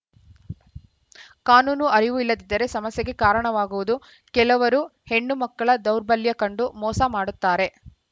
ಕಾನೂನು ಅರಿವು ಇಲ್ಲದಿದ್ದರೆ ಸಮಸ್ಯೆಗೆ ಕಾರಣವಾಗುವುದು ಕೆಲವರು ಹೆಣ್ಣು ಮಕ್ಕಳ ದೌರ್ಬಲ್ಯ ಕಂಡು ಮೋಸ ಮಾಡುತ್ತಾರೆ